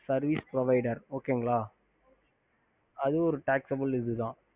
ஹம்